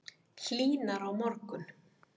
Hlýnar á morgun